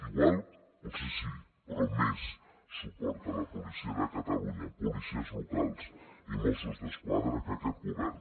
igual potser sí però més suport a la policia de catalunya policies locals i mossos d’esquadra que aquest govern